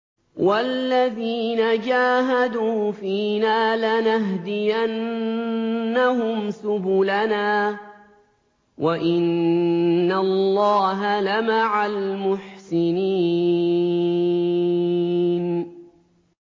وَالَّذِينَ جَاهَدُوا فِينَا لَنَهْدِيَنَّهُمْ سُبُلَنَا ۚ وَإِنَّ اللَّهَ لَمَعَ الْمُحْسِنِينَ